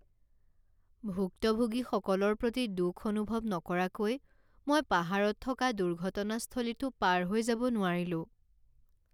ভুক্তভোগীসকলৰ প্ৰতি দুখ অনুভৱ নকৰাকৈ মই পাহাৰত থকা দুৰ্ঘটনাস্থলীটো পাৰ হৈ যাব নোৱাৰিলোঁ।